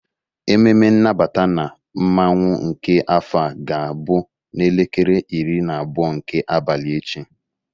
Ememe nnabata na mmanwụ nke afọ a ga-abụ n'elekere iri na abụọ nke abalị echi.